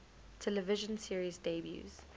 television series debuts